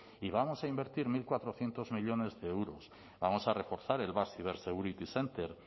y vamos a invertir mil cuatrocientos millónes de euros vamos a reforzar el basque cibersecurity center